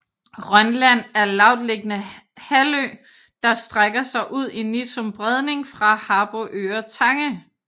Rønland er lavtliggende halvø der strækker sig ud i Nissum Bredning fra Harboøre Tange